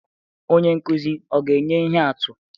Onye nkuzi ọ ga-enye ihe atụ?